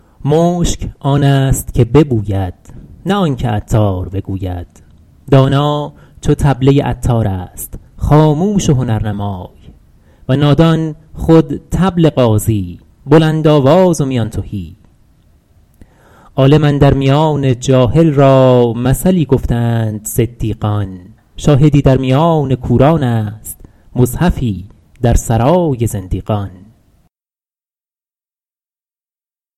مشک آن است که ببوید نه آن که عطار بگوید دانا چو طبله عطار است خاموش و هنرنمای و نادان خود طبل غازی بلندآواز و میان تهی عالم اندر میان جاهل را مثلی گفته اند صدیقان شاهدی در میان کوران است مصحفی در سرای زندیقان